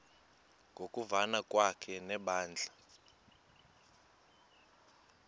ngokuvana kwakhe nebandla